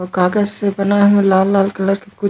आऊ कागज से बनाये हे लाल-लाल कलर के कुछ--